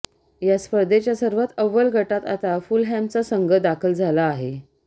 या स्पर्धेच्या सर्वात अव्वल गटात आता फुलहॅमचा संघ दाखल झाला आहे